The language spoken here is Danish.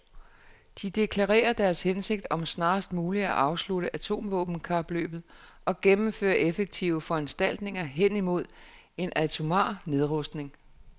De deklarerer deres hensigt om snarest muligt at afslutte atomvåbenkapløbet og gennemføre effektive foranstaltninger hen mod en atomar nedrustning .